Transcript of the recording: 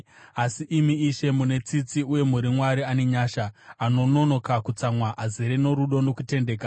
Asi, imi Ishe, mune tsitsi uye muri Mwari ane nyasha, anononoka kutsamwa, azere norudo nokutendeka.